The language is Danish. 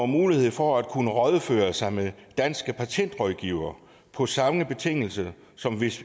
mulighed for at kunne rådføre sig med danske patentrådgivere på samme betingelser som hvis